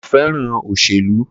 Ko fẹ́ràn òṣèlú